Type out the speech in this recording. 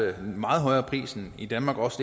meget højere pris end i danmark og også